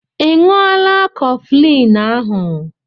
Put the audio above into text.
Ị ṅụọla kofflini ahu